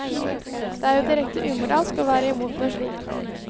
Det er jo direkte umoralsk å være imot noe slikt.